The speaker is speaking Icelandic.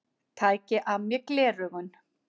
Tæki af mér gleraugun.